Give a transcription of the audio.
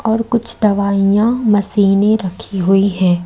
और कुछ दवाइयां मशीने रखी हुई है।